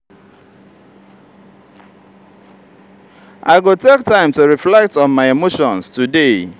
i go take time to reflect on my emotions today.